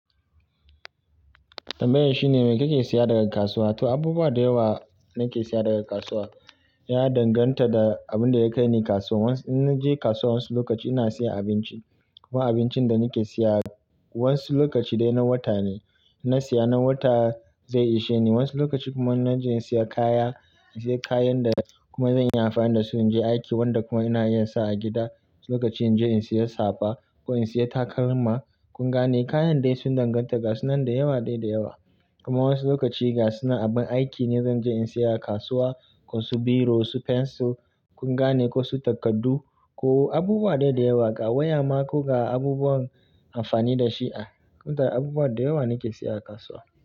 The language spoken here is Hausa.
Tambayar shine me kake siya daga kasuwa? To, abubuwa da yawa nake siya daga kasuwa. Ya danganta da abin da ya kai ni kasuwa. In naje kasuwa wasu lokaci ina siya abinci. Kuma abincin da nake siya wasu lokaci dai na wata ne. In na siya na wata zai ishe ni. Wasu lokaci kuma naje in siya kaya, in siya kayan da kuma zan yi amfani da su in je aiki wanda kuma ina yinsa a gida. Wasu lokaci in je in siya safa ko in siya takalma. Kun gane? Kayan dai sun danganta ga su nan da yawa dai da yawa. Kuma wasu lokaci ga suna abin aiki ne zan je in siya a kasuwa. Ko su biro, su fensil kun gane? Ko su takardu ko abubuwa da yawa ga waya ma ko ga abubuwan amfani da shi a. Kunta abubuwa da yawa nake siya a kasuwa.